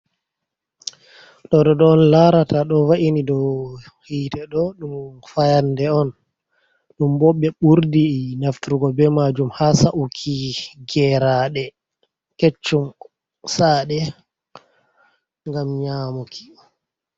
Ɗo ɗo on larata ɗo ,ɗo va’ini dow yiite ɗo ɗum fayande on, ɗum bo ɓe ɓurdi nafturgo be maajum haa sa’uki geraaɗe keccum ,sa'aɗe ngam nyamuki.